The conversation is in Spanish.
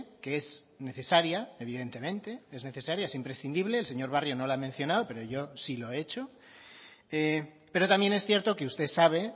que es necesaria evidentemente es necesaria es imprescindible el señor barrio no la ha mencionado pero yo sí lo he hecho pero también es cierto que usted sabe